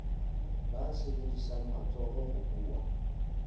ba sebedisang matsoho ho buwa